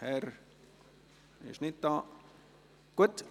– Das scheint nicht der Fall zu sein.